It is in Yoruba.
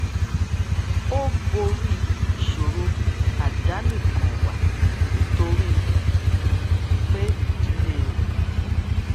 ó borí ìṣòro àdánìkànwà nítorí um pé ìdílé rè